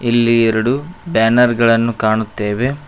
ಇಲ್ಲಿ ಎರಡು ಬ್ಯಾನರ್ ಗಳನ್ನು ಕಾಣುತ್ತೇವೆ.